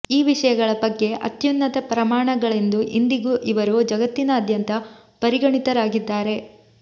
ಈ ವಿಷಯಗಳ ಬಗ್ಗೆ ಅತ್ಯುನ್ನತ ಪ್ರಮಾಣಗಳೆಂದೂ ಇಂದಿಗೂ ಇವರು ಜಗತ್ತಿನಾದ್ಯಂತ ಪರಿಗಣಿತರಾಗಿದ್ದಾರೆ